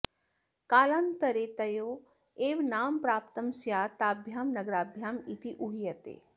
कालान्तरे तयोः एव नाम प्राप्तं स्यात् ताभ्यां नगराभ्याम् इति ऊह्यते